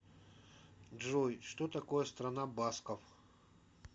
джой что такое страна басков